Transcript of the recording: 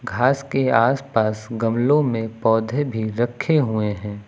घास के आस पास गमलों में पौधे भी रखे हुए हैं।